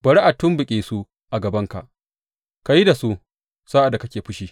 Bari a tumɓuke su a gabanka; ka yi da su sa’ad da kake fushi.